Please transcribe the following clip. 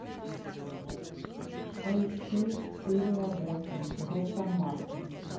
поищи серия восемь доктор мартин